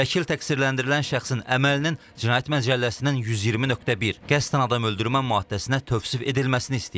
Vəkil təqsirləndirilən şəxsin əməlinin cinayət məcəlləsinin 120.1 qəsdən adam öldürmə maddəsinə tövsif edilməsini istəyib.